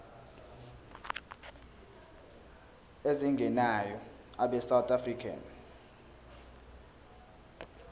ezingenayo abesouth african